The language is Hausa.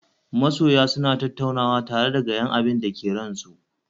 Masoya suna tattaunawa tare da bayan abinda ke ran su